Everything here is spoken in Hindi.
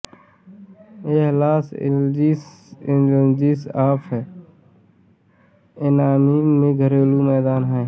यह Los Angeles Angels of Anaheim का घरेलू मैदान है